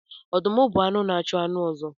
Ọdụm bụ anụ na-achụ anụ ọzọ